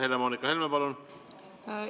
Helle‑Moonika Helme, palun!